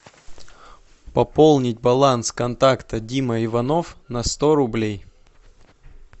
пополнить баланс контакта дима иванов на сто рублей